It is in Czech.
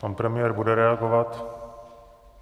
Pan premiér bude reagovat?